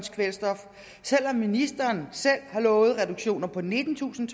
kvælstof selv om ministeren har lovet en reduktion på nittentusind